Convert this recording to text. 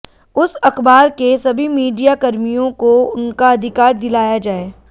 उस अखबार के सभी मीडियाकर्मियों को उनका अधिकार दिलाया जाये